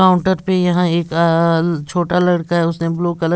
counter पे यहाँ एक आ छोटा लड़का है उसने ब्लू कलर --